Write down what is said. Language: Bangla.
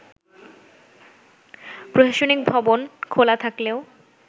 প্রশাসনিক ভবন খোলা থাকলেও